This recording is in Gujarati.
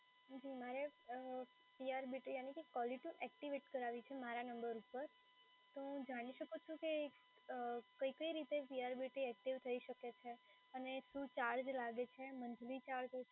જી મારે અમ CRBT યાની કે કોલેટી એક્ટિવેટ કરાવવી છે મારા નંબર ઉપર, તો હું જાણી શકું છું કે અમ કઈ કઈ રીતે CRBT એક્ટિવેટ થઈ શકે છે અને શું ચાર્જ લાગે છે મન્થલી ચાર્જ